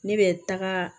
Ne bɛ taga